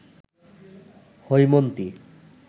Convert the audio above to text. Haimanti